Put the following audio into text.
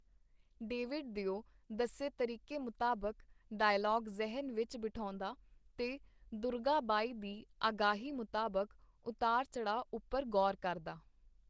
David ਦਿਓ ਦੱਸੇ ਤਰੀਕੇ ਮੁਤਾਬਕ ਡਾਇਲਾਗ ਜ਼ੇਹਨ ਵਿਚ ਬਿਠਾਉਂਦਾ, ਤੇ ਦੁਰਗਾਬਾਈ ਦੀ ਆਗਾਹੀ ਮੁਤਾਬਕ ਉਤਾਰ-ਚੜ੍ਹਾਅ ਉਪਰ ਗੌਰ ਕਰਦਾ.